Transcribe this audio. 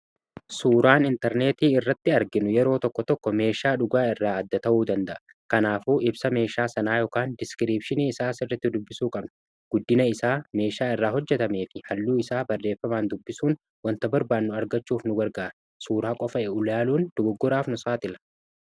suuraan intarneetii irratti arginu yeroo tokko tokko meeshaa dhugaa irraa adda ta'uu danda'a. kanaafuu ibsa meeshaa sanaa yookaan diskiripshinii isaa sirriti dubbisuu qabna. guddina isaa meeshaa irraa hojjetame fi halluu isaa barreeffamaan dubbisuun wanta barbaannu argachuuf nu garga'a . suuraa qofa ulaaluun dogoggoraaf nu saaxila.